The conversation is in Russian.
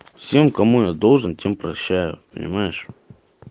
всем кому я должен тем прощаю понимаешь